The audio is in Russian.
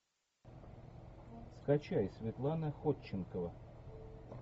скачай светлана ходченкова